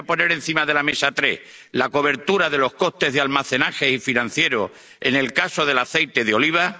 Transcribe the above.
Voy a poner encima de la mesa tres medidas la cobertura de los costes de almacenaje y financieros, en el caso del aceite de oliva